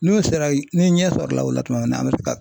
N'u sera y ni ɲɛ sɔrɔla o la tuma min na an bɛ se ka